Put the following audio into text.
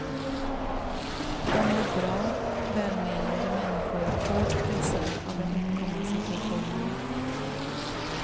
De är bra, välmenande människor, hårt pressade av den uppkomna situationen.